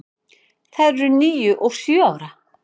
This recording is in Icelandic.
Þær eru níu og sjö ára.